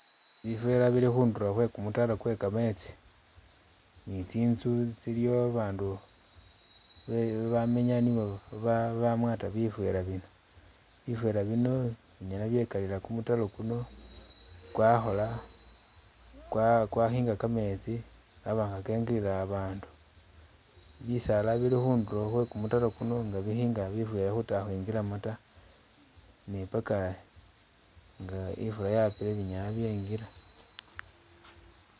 Bivera bili khundulo khwe kumutaro kwe kametsi ne tsinzu tsiliyo abandu be bamenya nibo be bamwata bivera bino, bivera bino binyala byekalila kumutaro kuno kwakhola, kwa kwakhinga kametsi kaba nga kengilila abandu , bisaala bili khundulo khwe kumutaro kuno nga bikhinga bivera khuta khwingilamo ta ne paka ifula nga yapile binyala byengila.